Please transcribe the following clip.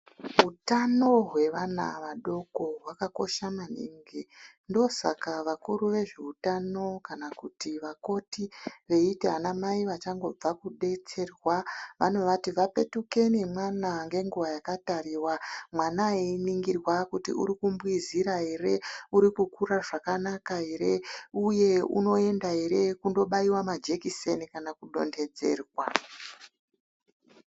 Hutano hwevana vadoko hwakakosha maningi ndosaka vakuru vezveutano kana kuti vakoti veiti anamai vachangobva kudesterwa vanovati vapetuke nemwana ngenguwa yakatariwa, mwana einigirwa kuti urikumbwizira ere, uri kukura zvakanaka ere, uye unoenda ere kondobaiwa majekiseni kana kudonhedzerwa.